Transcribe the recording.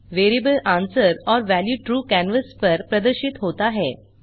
variable answer और value true canvas पर प्रदर्शित होता है